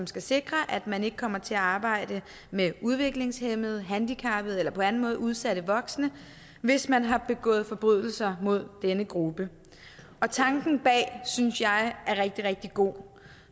skal sikre at man ikke kommer til at arbejde med udviklingshæmmede handicappede eller på anden måde udsatte voksne hvis man har begået forbrydelser mod denne gruppe tanken bag synes jeg er rigtig rigtig god